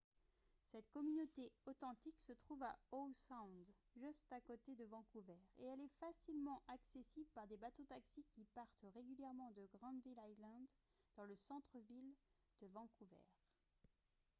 cette communauté authentique se trouve à howe sound juste à côté de vancouver et elle est facilement accessible par des bateaux-taxis qui partent régulièrement de granville island dans le centre-ville de vancouver